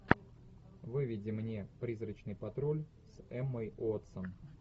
выведи мне призрачный патруль с эммой уотсон